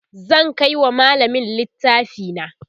zan Kai wa mallamin littafi na